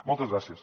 moltes gràcies